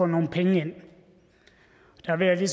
nogle penge ind der vil jeg